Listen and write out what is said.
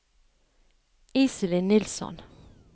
Iselin Nilsson